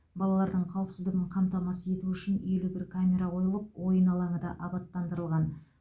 балалардың қауіпсіздігін қамтамасыз ету үшін елу бір камера қойылып ойын алаңы да абаттандырылған